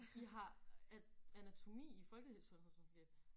I har øh anatomi i folkesundhedsvidenskab